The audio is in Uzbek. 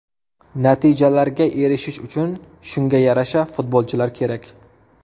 Natijalarga erishish uchun shunga yarasha futbolchilar kerak.